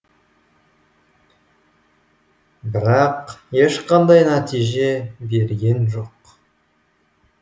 бірақ ешқандай нәтиже берген жоқ